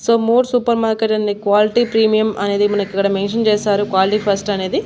So more supermarket and quality premium అనేది మనకు ఇక్కడ మెన్షన్ చేశారు క్వాలిటీ ఫస్ట్ అనేది.